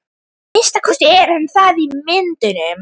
Að minnsta kosti er hann það í myndunum.